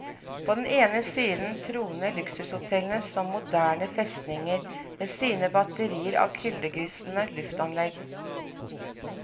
På den ene siden troner luksushotellene som moderne festninger med sine batterier av kuldegysende luftanlegg.